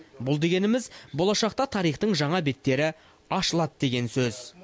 бұл дегеніміз болашақта тарихтың жаңа беттері ашылады деген сөз